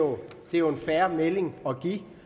jo en fair melding at give